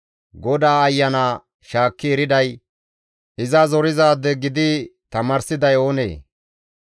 GODAA Ayana shaakki eriday, iza zorizaade gidi tamaarsiday oonee?